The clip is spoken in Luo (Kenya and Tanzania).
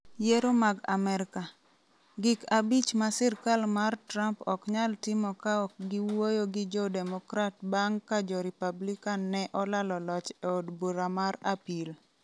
Yiero mag Amerka: Gik abich ma sirkal mar Trump ok nyal timo ka ok giwuoyo gi jo Democrat bang ' ka jo Republican ne olalo loch e od bura mar apil